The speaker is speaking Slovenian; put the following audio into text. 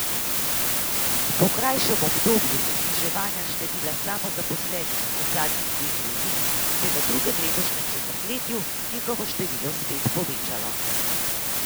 Po krajšem obdobju zniževanja števila samozaposlenih v zadnjih dveh letih se je v drugem letošnjem četrtletju njihovo število spet povečalo.